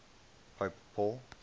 pope paul